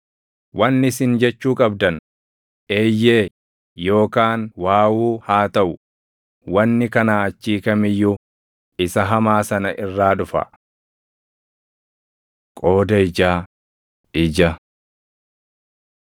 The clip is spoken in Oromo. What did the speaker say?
Wanni isin jechuu qabdan, ‘Eeyyee’ yookaan ‘Waawuu’ haa taʼu; wanni kanaa achii kam iyyuu isa hamaa sana irraa dhufa. Qooda Ijaa, Ija